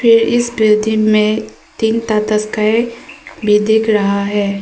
इस बिल्डिंग में तीन भी दिख रहा है।